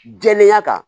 Jɛlenya kan